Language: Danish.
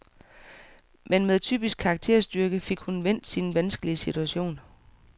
Men med typisk karakterstyrke fik hun vendt sin vanskelige situation.